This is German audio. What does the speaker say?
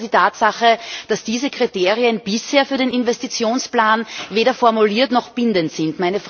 Es bleibt aber die Tatsache, dass diese Kriterien bisher für den Investitionsplan weder formuliert noch bindend sind.